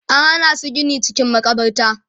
an Hana su Gini cikin makabarta